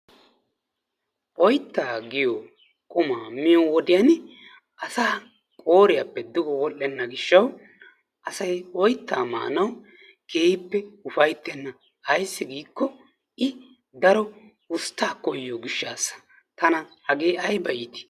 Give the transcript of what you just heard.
oyttaa giyo qumaaa miyo wodiyani asaa qooriyappe duge wodhenna gishawu asay oytaa maanawu kehippe ufaytenna ayssi giikki i daro ustaa koyiyo gishaasa tana hagee ayba iitii